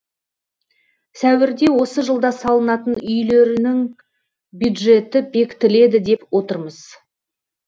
сәуірде осы жылда салынатын үйлерінің бюджеті бекітіледі деп отырмыз